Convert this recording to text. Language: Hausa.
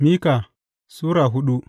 Mika Sura hudu